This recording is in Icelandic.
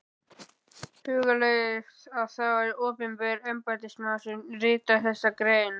Hugleiðið að það var opinber embættismaður sem ritaði þessa grein.